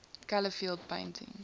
color field painting